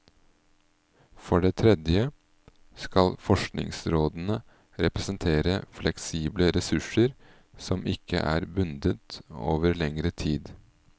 For det tredje skal forskningsrådene representere fleksible ressurser som ikke er bundet over lengre tid.